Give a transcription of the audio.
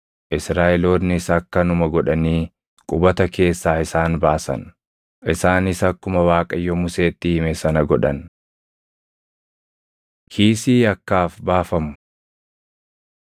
Israaʼeloonnis akkanuma godhanii qubata keessaa isaan baasan. Isaanis akkuma Waaqayyo Museetti hime sana godhan. Kiisii Yakkaaf Baafamu